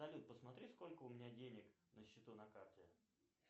салют посмотри сколько у меня денег на счету на карте